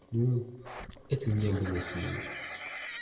ну это меня бы не остановило